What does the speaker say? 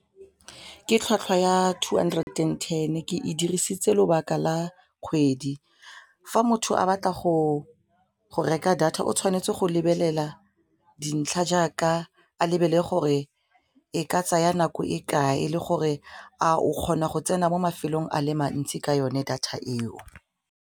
Ke tlhwatlhwa ya two hundred and ten ke e dirisitse lobaka la kgwedi fa motho a batla go reka data o tshwanetse go lebelela dintlha jaaka a lebelle gore e ka tsaya nako e kae le gore a o kgona go tsena mo mafelong a le mantsi ka yone data eo.